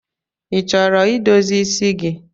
Ị chọrọ idozi isi gi?